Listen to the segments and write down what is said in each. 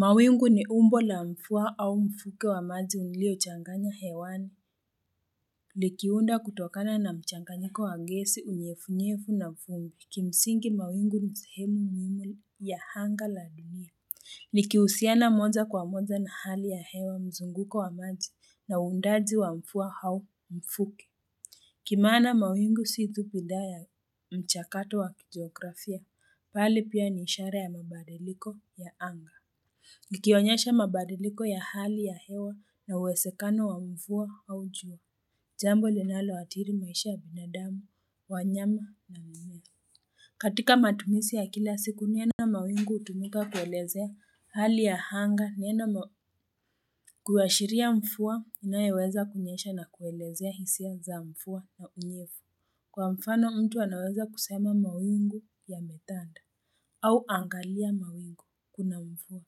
Mawingu ni umbo la mfua au mfuke wa maji uliochanganya hewani Likiunda kutokana na mchanganyiko wagesi, unyefunyevu na mfungi. Kimsingi mawingu ni sehemu muhimu ya hanga la dunia Nikihusiana moja kwa moja na hali ya hewa, mzunguko wa maji na undaji wa mvua au mfuke Kimaana mawingu si tu hidhaa ya mchakato wa kijografia bali pia ni ishara ya mabadiliko ya anga Ikionyesha mabadiliko ya hali ya hewa na uwesekano wa mvua au jua, jambo linaloadhiri maisha ya binadamu, wanyama na mimea. Katika matumisi ya kila siku neno mawingu utumika kuelezea hali ya hanga neno ma Kuwashiria mfuwa inayeweza kunyesha na kuelezea hisia za mfuwa na unyevu. Kwa mfano mtu anaweza kusema mawingu yametanda au angalia mawingu kuna mfuwa.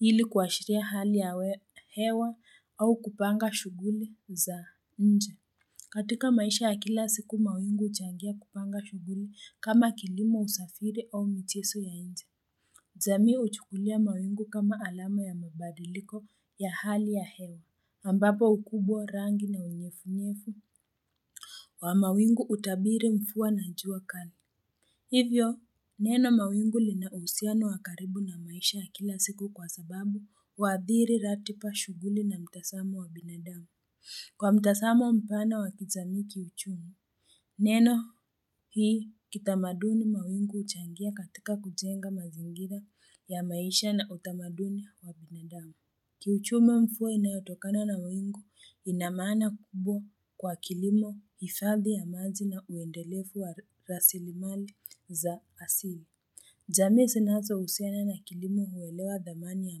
Ili kuashiria hali ya hewa au kupanga shughuli za nje. Katika maisha ya kila siku, mawingu huchangia kupanga shughuli kama kilimo, usafiri au micheso ya nje. Jamii huchukulia mawingu kama alama ya mabadiliko ya hali ya hewa. Ambapo ukubwa rangi na unyefu-nyefu. Wa mawingu utabiri mfua na njua kana. Hivyo, neno mawingu linausiano wakaribu na maisha ya kila siku kwa sababu huadhiri ratipa shughuli na mtasamo wa binadamu. Kwa mtasamo mpana wakijamii kiuchumi, neno hii kitamaduni mawingu uchangia katika kujenga mazingira ya maisha na utamaduni wa binadamu. Kiuchume mfua inayotokana na mawingu inamaana kubwa kwa kilimo hifadhi ya maji na uendelefu wa rasilimali za asili jamii sinazo husiana na kilimo huelewa dhamani ya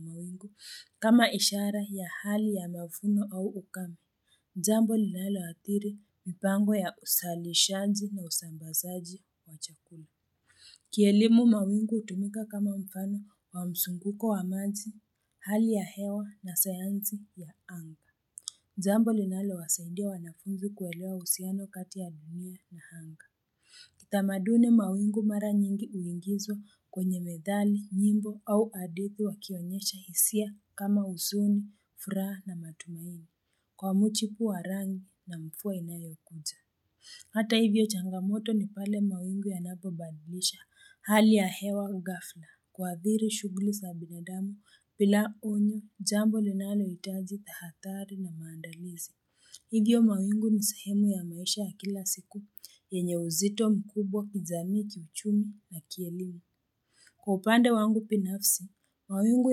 mawingu kama ishara ya hali ya mafuno au ukame jambo linaloathiri mipango ya usalishaji na usambazaji wa chakula Kielimu mawingu utumika kama mfano wa msunguko wa maji, hali ya hewa na sayanzi ya anga Jambo linalowasaidia wanafunzi kuelewa husiano kati ya dunia na hanga Kitamaduni mawingu mara nyingi uingizwa kwenye methali, nyimbo au adithi wakionyesha hisia kama usuni, furaha na matumaini. Kwa mchipu warangi na mfua inayokuja Hata hivyo changamoto ni pale mawingu yanapobadilisha hali ya hewa ghafla. Kuadhiri shughuli sa binadamu, pila onyo jambo linalohitaji tahadhari na maandalizi. Hivyo mawingu ni sehemu ya maisha ya kila siku, yenye uzito mkubwa, kijamii kiuchumi na kielimu. Kwa upande wangu pinafsi, mawingu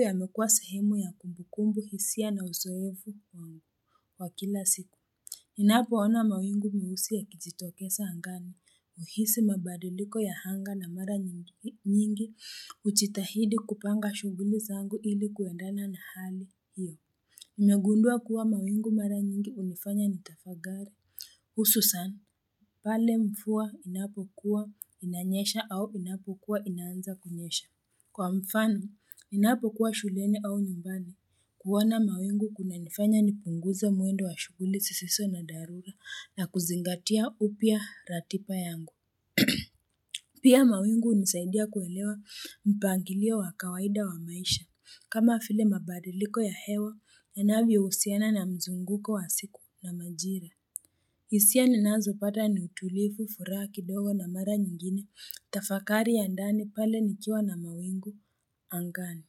yamekua sehemu ya kumbukumbu, hisia na uzoevu wangu wa kila siku. Ninapoona mawingu meusi ya kijitokesa hangani, huhisi mabadiliko ya hanga na mara nyingi, ujitahidi kupanga shughuli zangu ili kuendana na hali hiyo. Nimegundua kuwa mawingu mara nyingi umifanya ni tafagari. Hususan, pale mfuwa inapokuwa inanyesha au inapokuwa inaanza kunyesha. Kwa mfano, ninapokuwa shuleni au nyumbani, kuona mawingu kuna nifanya ni punguze mwendo wa shughuli sisiso na dharura na kuzingatia upya ratipa yangu. Pia mawingu unisaidia kuelewa mpangilio wa kawaida wa maisha, kama file mabadiliko ya hewa yanavyohusiana na mzunguko wa siku na majira. Hisia ninazopata ni utulifu furaha kidogo na mara nyingine, tafakari ya ndani pale nikiwa na mawingu. Angani,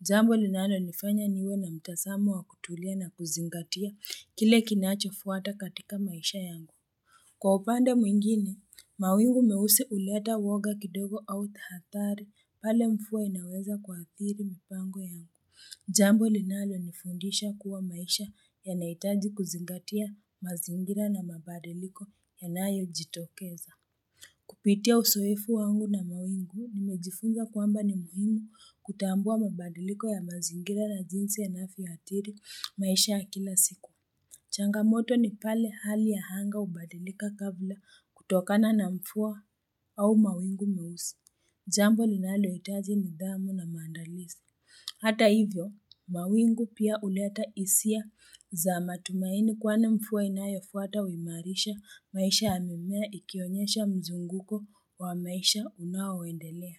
jambo linalo nifanya niwe na mtasamo wa kutulia na kuzingatia kile kinachofwata katika maisha yangu. Kwa upande mwingine, mawingu meusi uleta woga kidogo au tahathari pale mfua inaweza kwa athiri mpango yangu. Jambo linalo nifundisha kuwa maisha yanaitaji kuzingatia mazingira na mabadiliko yanayojitokeza. Kupitia usoefu wangu na mawingu nimejifunza kwamba ni muhimu kutambua mabadiliko ya mazingira na jinsi yanavyofi ya atiri maisha ya kila siku changamoto ni pale hali ya hanga ubadilika kabla kutokana na mfua au mawingu meusi Jambo linaloitaji nidhamu na maandalizi Hata hivyo mawingu pia uleta isia za matumaini kwani mfuwa inayofuata uimarisha maisha ya mimea ikionyesha mzunguko wa maisha unaoendelea.